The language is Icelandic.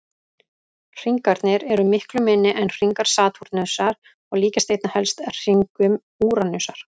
Hringarnir eru miklu minni en hringar Satúrnusar og líkjast einna helst hringum Úranusar.